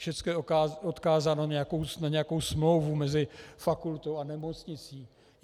Všecko je odkázáno na nějakou smlouvu mezi fakultou a nemocnicí.